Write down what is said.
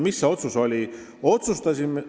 Mis see otsus oli?